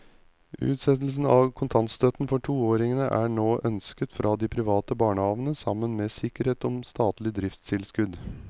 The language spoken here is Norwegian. Utsettelse av kontantstøtten for toåringene er nå ønsket fra de private barnehavene sammen med sikkerhet om statlig driftstilskudd.